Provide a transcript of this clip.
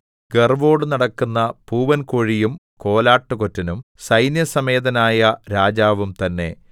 ഗര്‍വ്വോട് നടക്കുന്ന പൂവന്‍കോഴിയും കോലാട്ടുകൊറ്റനും സൈന്യസമേതനായ രാജാവും തന്നെ